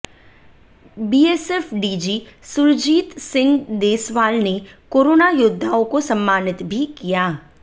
BSF DG Surjit Singh Deswal ने corona योद्धाओं को सम्मानित भी किया